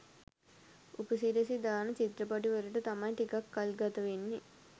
උපසිරසි දාන චිත්‍රපටි වලට තමයි ටිකක් කල් ගතවෙන්නෙ